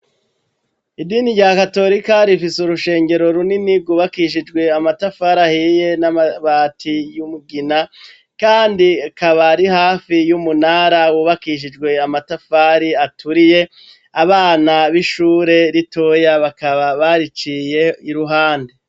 Idini rya katolika rifise urushengero runini rwubakishijwe amatafari ahiye n'abati y'umugina, kandi kaba ari hafi y'umunara wubakishijwe amatafari aturiye, abana b'ishure ritoya bakaba bariciye iruhande.